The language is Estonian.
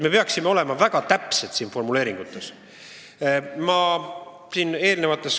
Me peaksime siiski oma formuleeringutes väga täpsed olema.